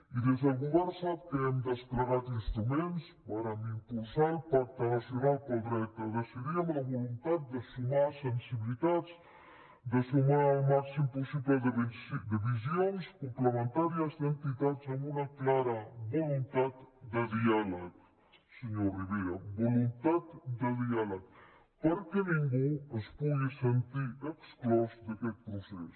i des del govern sap que hem desplegat instruments vàrem impulsar el pacte nacional pel dret a decidir amb la voluntat de sumar sensibilitats de sumar el màxim possible de visions complementàries d’entitats amb una clara voluntat de diàleg senyor rivera voluntat de diàleg perquè ningú es pugui sentir exclòs d’aquest procés